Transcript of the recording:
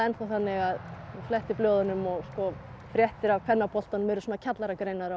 þannig að þú flettir blöðunum og fréttir af kvennaboltanum eru svona kjallaragreinar á